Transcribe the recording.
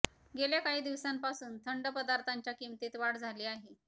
गेल्या काही दिवासांपासून थंड पदार्थांच्या किंमतीत वाढ झाली आहे